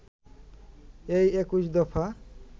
এই ২১ দফা